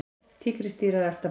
Tígrisdýr að elta bráð.